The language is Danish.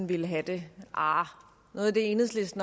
vil have det